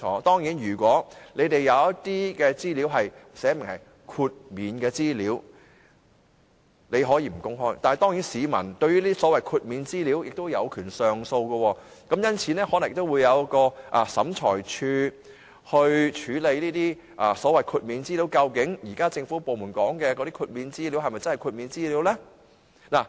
當然，如果政府部門有一些資料註明是豁免的資料，那便不用公開，但市民對這些所謂的豁免資料亦有權上訴，因此可能會交由審裁處來處理個案，究竟政府部門現時所說的豁免資料是否真的豁免資料？